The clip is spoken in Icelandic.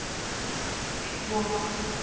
Leirvogur